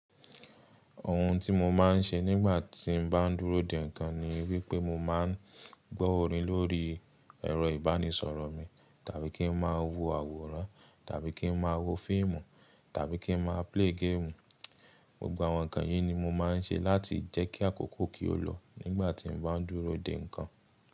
Ohun tí mo máa ń ṣe nígbà tí n bá dúró dè ńkan ni wípé mo máa ń gbó orin lórí ẹ̀rọ ìbánisọ̀rọ̀ mi, tàbí kí n máa wo àwòrán, tàbí kí n máa wo fíìmù, tàbí kí n máa play game. Gbogbo àwọn nǹkan yìí ni mo máa ń ṣe láti jẹ́kí àkókò kì ó lọ nígbà tí n bá dúró dè ńkan.